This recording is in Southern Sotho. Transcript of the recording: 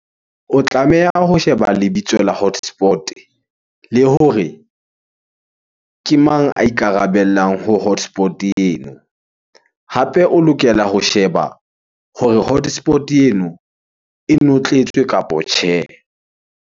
O tlameha ho sheba lebitso la hotspot-e le hore ke mang a ikarabellang ho hotspot- eno? Hape o lokela ho sheba hore hotspot-e eno e notletswe kapo tjhe.